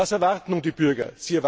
Was erwarten nun die Bürger?